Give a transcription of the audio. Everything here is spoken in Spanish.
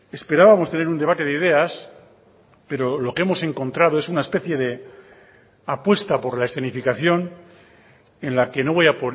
esperábamos tener un debate de ideas pero lo que hemos encontrado es una especie de apuesta por la escenificación en la que no voy a